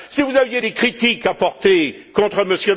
Si vous aviez des critiques à porter contre